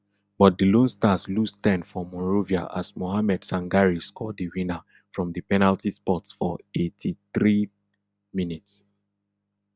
but di lone stars lose ten for monrovia as mohammed sangare score di winner from di penalty spot for eighty-threerd minute